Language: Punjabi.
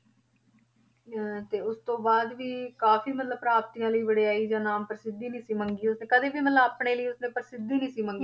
ਹਾਂ ਤੇ ਉਸਤੋਂ ਬਾਅਦ ਵੀ ਕਾਫ਼ੀ ਮਤਲਬ ਪ੍ਰਾਪਤੀਆਂ ਲਈ ਵਡਿਆਈ ਜਾਂ ਨਾਮ ਪ੍ਰਸਿੱਧੀ ਨੀ ਸੀ ਮੰਗੀ ਉਸਨੇ ਕਦੇ ਵੀ ਮਤਲਬ ਆਪਣੇ ਲਈ ਉਸਨੇ ਪ੍ਰਸਿੱਧੀ ਨੀ ਸੀ ਮੰਗੀ